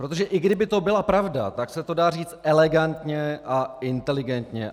Protože i kdyby to byla pravda, tak se to dá říct elegantně a inteligentně.